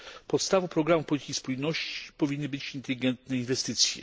Podstawą programów polityki spójności powinny być inteligentne inwestycje.